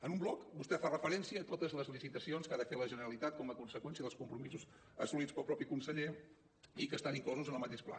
en un bloc vostè fa referència a totes les licitacions que ha de fer la generalitat com a conseqüència dels compromisos assolits pel mateix conseller i que estan inclosos en el mateix pla